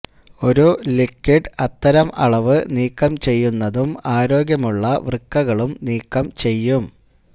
ഒരു ലിക്വിഡ് അത്തരം അളവ് നീക്കം ചെയ്യുന്നതും ആരോഗ്യമുള്ള വൃക്കകളും നീക്കം ചെയ്യും